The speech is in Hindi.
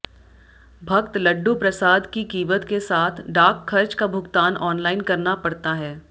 भक्त लड्डू प्रसाद की कीमत के साथ डाक खर्च का भुगतान ऑनलाइन करना पड़ता है